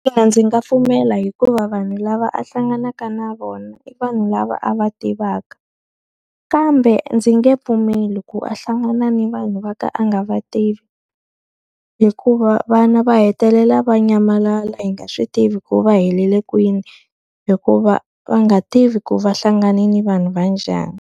ndzi nga pfumela hikuva vanhu lava a hlanganaka na vona i vanhu lava a va tivaka, kambe ndzi nge pfumeli ku a hlangana ni vanhu va ka a nga va tivi. Hikuva vana va hetelela va nyamalala hi nga swi tivi ku va helele kwini, hikuva va nga tivi ku va hlanganile vanhu va njhani.